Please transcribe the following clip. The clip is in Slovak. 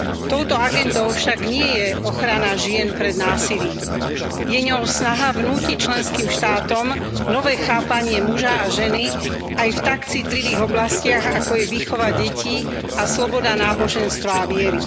Touto agendou však nie je ochrana žien pred násilím, je ňou snaha vnútiť členským štátom nové chápanie muža a ženy aj v tak citlivých oblastiach, ako je výchova detí a sloboda náboženstva a viery.